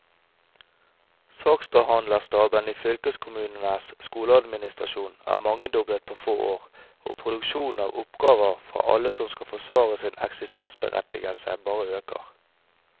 Saksbehandlerstaben i fylkeskommunenes skoleadministrasjon er mangedoblet på få år, og produksjon av oppgaver fra alle som skal forsvare sin eksistensberettigelse, bare øker.